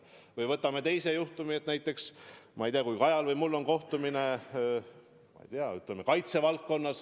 Või võtame teistsuguse juhtumi, et näiteks, ma ei tea, Kajal või mul on kaitsevaldkonnaga seotud kohtumine.